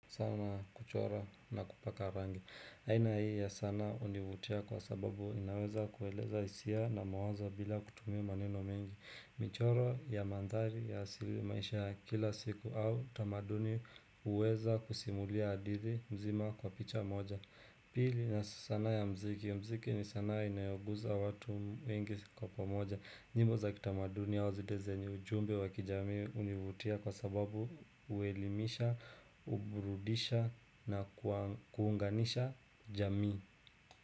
Sana kuchora na kupaka rangi, aina hii ya sanaa hunivutia kwa sababu inaweza kueleza hisia na mawazo bila kutumia maneno mengi. Michoro ya mandhari ya asili maisha ya kila siku au tamaduni huweza kusimulia hadithi mzima kwa picha moja Pili na sanaa ya mziki, mziki ni sanaa inayoguza watu wengi kwa pamoja. Nyimbo za kitamaduni haswa zile zenye ujumbe wa kijamii univutia kwa sababu Huelimisha, huburudisha na kuunganisha jamii.